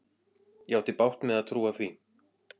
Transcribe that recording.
Ég átti bágt með að trúa því.